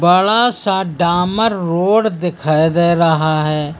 बड़ा सा डामर रोड दिखाई दे रहा है।